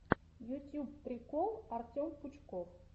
ютьюб прикол артем пучков